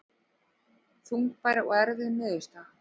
Þungbær og erfið niðurstaða